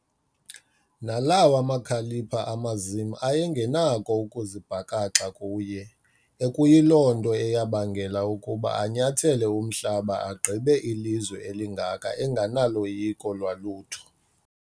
Nalawa makhalipha amazim ayengenakho ukuzibhakaxa kuye, ekuyiloo nto neyabangela ukuba anyathele umhlaba agqibe ilizwe elingaka engenaloyiko lwalutho.